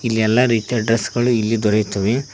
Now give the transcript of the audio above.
ಇಲ್ಲಿ ಎಲ್ಲಾ ರೀತಿಯ ಡ್ರೆಸ್ ಗಳು ಇಲ್ಲಿ ದೊರೆಯುತ್ತವೆ.